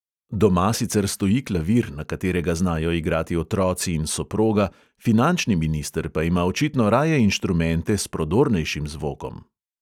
Doma sicer stoji klavir, na katerega znajo igrati otroci in soproga, finančni minister pa ima očitno raje inštrumente s prodornejšim zvokom.